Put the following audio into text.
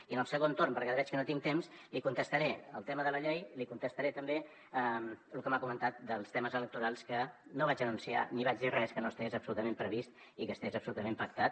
i en el segon torn perquè ara veig que no tinc temps li contestaré el tema de la llei li contestaré també lo que m’ha comentat dels temes electorals que no vaig anunciar ni vaig dir res que no estigués absolutament previst i que estigués absolutament pactat